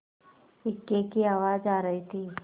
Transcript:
इक्के की आवाज आ रही थी